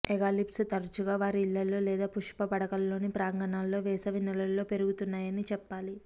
ఎగాలిఫ్స్ తరచుగా వారి ఇళ్లలో లేదా పుష్ప పడకలలోని ప్రాంగణాల్లో వేసవి నెలలలో పెరుగుతున్నాయని చెప్పాలి